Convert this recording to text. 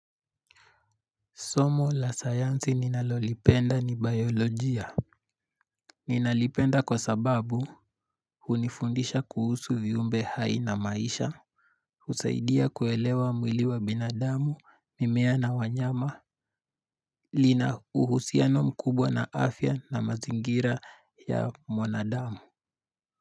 Somo la sayansi ninalolipenda ni biolojia. Ninalipenda kwa sababu hunifundisha kuhusu viumbe hai na maisha. Husaidia kuelewa mwili wa binadamu, mimea na wanyama. Lina uhusiano mkubwa na afya na mazingira ya mwanadamu.